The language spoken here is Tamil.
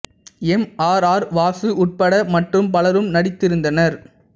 எம் ஆர் ஆர் வாசு உட்பட மற்றும் பலரும் நடித்திருந்தனர்